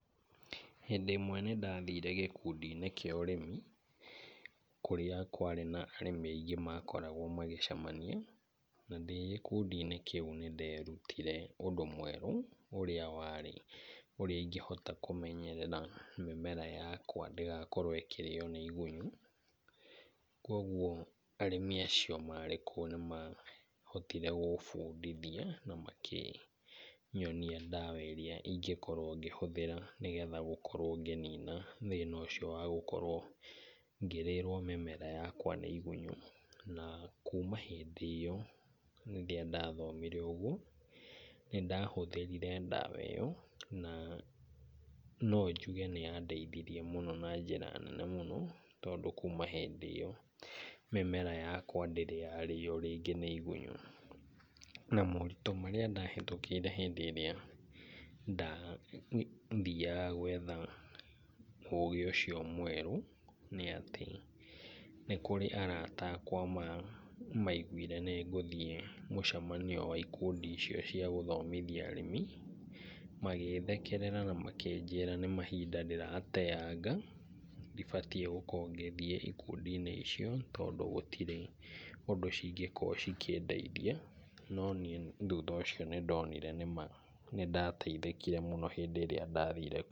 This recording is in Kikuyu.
Hĩndĩ ĩmwe nĩ ndathire gĩkundĩ-inĩ kĩa ũrĩmi kũrĩa kwarĩ na arĩmi aingĩ makoragwo magĩcemania. Na ndĩ gikundi-inĩ kĩu nĩ nderutire ũndũ mwerũ ũrĩa warĩ ũrĩa ingĩhota kũmenyerera mĩmera yakwa ndĩgakorwo ĩkĩrĩo nĩ igunyũ. Kwoguo arĩmi acio marĩ kuo nĩ mahotire gũbundithia na makĩnyonia ndawa ĩrĩa ingĩkorwo ngĩhũthĩra, nĩgetha gũkorwo ngĩnina thĩna ũcio wa gũkorwo ngĩrĩrwo mĩmera yakwa nĩ igunyũ. Na kuma hĩndĩ ĩyo rĩrĩa ndathomire ũguo, nĩ ndahũthĩrire ndawa ĩyo na no njuge nĩyandeithirie mũno na njĩra nene mũno, tondũ kuuma hĩndĩ ĩyo mĩmera yakwa ndĩrĩ yarĩo rĩngĩ nĩ igunyũ. Na moritũ marĩa ndahĩtũkĩire hĩndĩ ĩria ndathiaga gwetha ũũgĩ ucio mwerũ nĩ atĩ, nĩ kũrĩ arata akawa maigwire nĩ ngũthiĩ mũcemanio wa ikundi icio cia gũthomithia arĩmi, magĩthekerera na makĩnjĩra nĩ mahinda ndĩrateanga ndibatiĩ gũkorwo ngĩthiĩ ikundi-inĩ icio tondũ gũtirĩ ũndũ cingĩkorwo cikĩndeithia. No niĩ thutha ũcio nĩ ndonire nĩ ma nĩ ndateithĩkĩre mũno hĩndĩ ĩrĩa ndathire kuo.